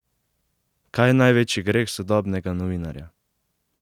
Kaj je največji greh sodobnega novinarja?